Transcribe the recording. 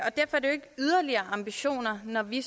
yderligere ambitioner når vi